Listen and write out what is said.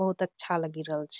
बहुत अच्छा लगि रहल छ।